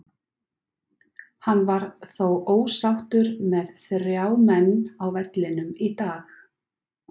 Hann var þó ósáttur með þrjá menn á vellinum í dag.